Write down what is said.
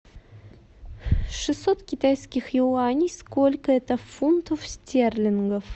шестьсот китайских юаней сколько это фунтов стерлингов